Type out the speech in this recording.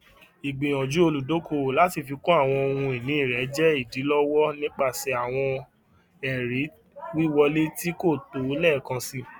igbiyanju oludokoowo lati fikun awọn ohunini rẹ jẹ idilọwọ nipasẹ awọn ẹri wiwọle ti ko tọ lẹẹkansi